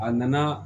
A nana